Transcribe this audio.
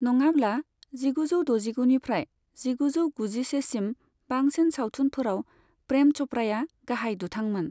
नङाब्ला, जिगुजौ द'जिगुनिफ्राय जिगुजौ गुजिसेसिमनि बांसिन सावथुनफोराव प्रेम च'पड़ाया गाहाय दुथांमोन।